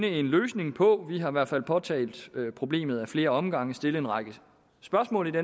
en løsning på vi har i hvert fald påtalt problemet ad flere omgange stillet en række spørgsmål